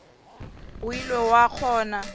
ge o ile wa kgona